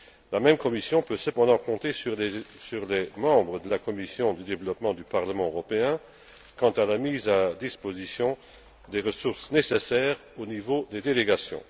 La même Commission peut cependant compter sur les membres de la commission du développement du Parlement européen en ce qui concerne la mise à disposition des ressources nécessaires au niveau des délégations.